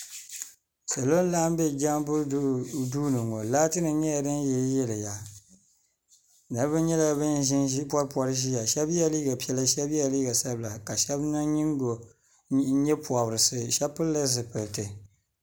salo laɣim bɛ jamibu do ni ŋɔ laatinim nyɛla din yɛliya niriba nyɛla ban poripori ƶɛya shɛbi yɛla liga piɛlla shɛbi liga sabila ka niŋ nyɛpobirisi shɛbi pɛlila zupɛli piɛlitɛ